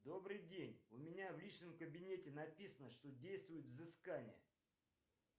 добрый день у меня в личном кабинете написано что действует взыскание